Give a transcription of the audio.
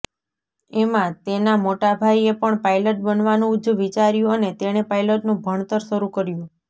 એમાં તેના મોટા ભાઇએ પણ પાઇલટ બનવાનું જ વિચાર્યું અને તેણે પાઇલટનું ભણતર શરૂ કર્યું